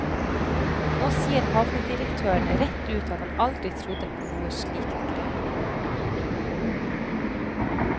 Nå sier havnedirektøren rett ut at han aldri trodde på noe slikt grep.